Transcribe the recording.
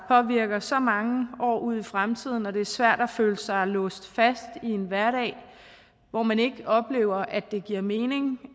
påvirker så mange år ud i fremtiden og det er svært at føle sig låst fast i en hverdag hvor man ikke oplever at det giver mening